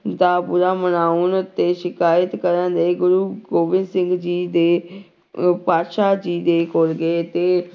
ਦਾ ਬੁਰਾ ਮਨਾਉਣ ਤੇ ਸ਼ਿਕਾਇਤ ਕਰਨ ਲਈ ਗੁਰੂ ਗੋਬਿੰਦ ਸਿੰਘ ਜੀ ਦੇ ਪਾਤਿਸ਼ਾਹ ਜੀ ਦੇ ਕੋਲ ਗਏ ਤੇ